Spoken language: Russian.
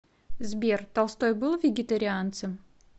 сбер толстой был вегетарианцем